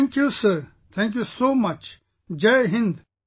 Thank you Sir Thank you so much Jai Hind